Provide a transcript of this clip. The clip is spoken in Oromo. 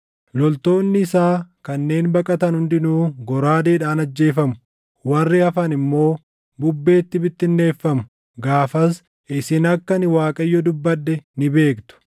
Loltoonni isaa kanneen baqatan hundinuu goraadeedhaan ajjeefamu; warri hafan immoo bubbeetti bittinneeffamu. Gaafas isin akka ani Waaqayyo dubbadhe ni beektu.